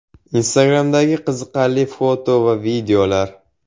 Instagram’dagi qiziqarli foto va videolar.